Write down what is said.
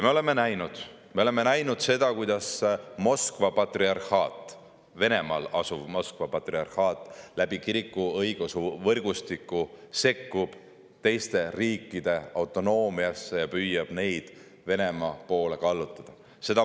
Me oleme näinud, kuidas Venemaal asuv Moskva patriarhaat õigeusu kiriku võrgustiku kaudu sekkub teiste riikide autonoomiasse ja püüab neid Venemaa poole kallutada.